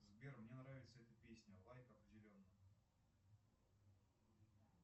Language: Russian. сбер мне нравится эта песня лайк определенно